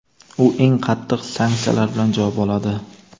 u eng qattiq sanksiyalar bilan javob oladi.